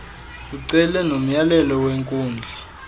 ucele nomyalelo wenkundla